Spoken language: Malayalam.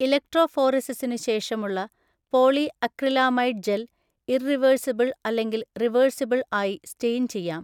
ഇലക്ട്രോഫോറെസിസിനു ശേഷമുള്ള പോളിഅക്രിലാമൈഡ് ജെൽ ഇർറിവേർസിബൾ അല്ലെങ്കിൽ റിവേർസിബൾ ആയി സ്റ്റൈയിൻ ചെയ്യാം.